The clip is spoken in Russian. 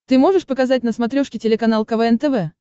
ты можешь показать на смотрешке телеканал квн тв